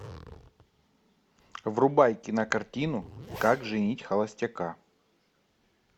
врубай кинокартину как женить холостяка